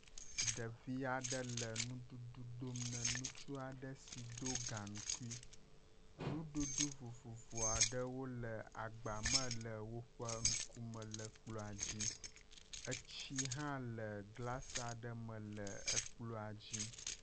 Ɖevia ɖe le nuɖuɖu dom na nutsua ɖe si do gaŋkui, nuɖuɖu vovovoa ɖewo le agbame le woƒe ŋkume le kplɔ̃a dzi, etsi hã le glasia ɖe me le ekplɔ̃a dzi.